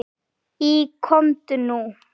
Í Komdu út!